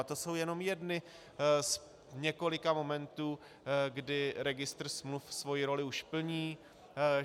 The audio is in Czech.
A to jsou jenom jedny z několika momentů, kdy registr smluv svoji roli už plní.